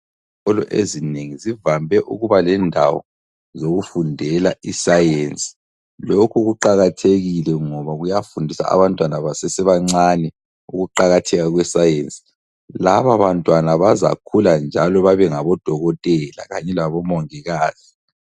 Izikolo ezinengi zivame ukuba lendawo zokufundela iscience. Lokhu kuqakathekile ngoba kuyafundisa abantwana basesebancane ukuqakatheka kwe Science. Laba bantwana bazakhula njalo babe ngabodokotela kanye labo mongikazi.